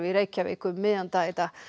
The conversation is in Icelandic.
í Reykjavík um miðjan dag